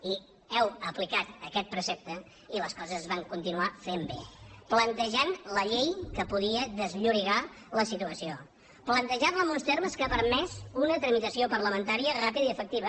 i heu aplicat aquest precepte i les coses es van continuar fent bé plantejant la llei que podia desllorigar la situació plantejant la en uns termes que han permès una tramitació parlamentària ràpida i efectiva